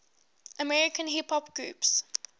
american hip hop groups